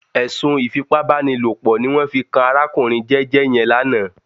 Ẹ̀sùn ìfipábánilòpọ̀ ní wọ́n fi kan arákùnrin jẹ́jẹ́ yẹn lánàá